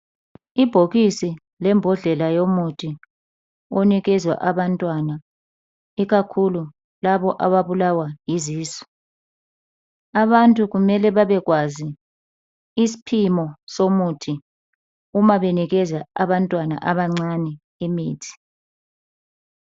Ibhokisi lembodlela yomuthi onikezwa abantwana ikakhulu labo abablawa yizisu abantu kumele babekwazi isipimo somuthi uba benikeza abantwana abancane imithi